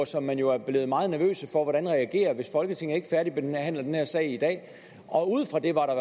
som man jo er blevet meget nervøse for hvordan reagerer hvis folketinget ikke færdigbehandler den her sag i dag og ud fra det var der